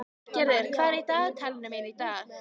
Hallgerður, hvað er í dagatalinu mínu í dag?